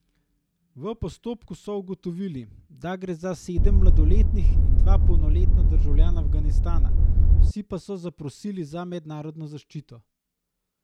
V postopku so ugotovili, da gre za sedem mladoletnih in dva polnoletna državljana Afganistana, vsi pa so zaprosili za mednarodno zaščito.